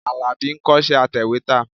Àlàbí ń kọ́ṣẹ́ atẹ̀wétà.